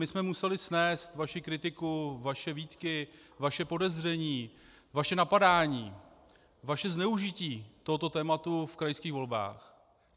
My jsme museli snést vaši kritiku, vaše výtky, vaše podezření, vaše napadání, vaše zneužití tohoto tématu v krajských volbách.